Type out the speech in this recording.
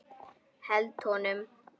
Held honum.